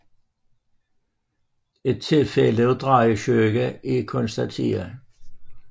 Et tilfælde af drejesyge er konstateret